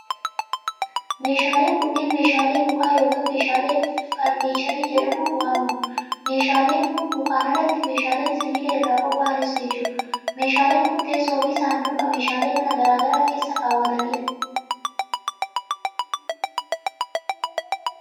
Meeshaaleen kunneen meeshaalee mukaa yokin meeshaalee farniicharii jedhamuun waamamu. Meeshaaleen kun mukaan alatti meeshaaleen sibiila irraa qopha'anis ni jiru. Meeshaaleen kun teessoo fi saanduqa meeshaalee manaa garaa garaa garaa keessa kaawwatanii dha.